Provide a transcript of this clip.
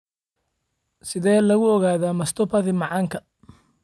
Sidee lagu ogaadaa mastopathy macaanka?